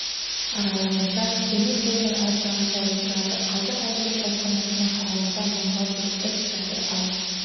аралығында темір тордың ар жағында отырады қазір әділет басқармасының қарауында мыңға жуық іс жатыр ал